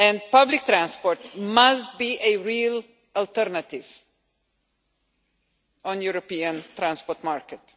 Public transport must be a real alternative on the European transport market.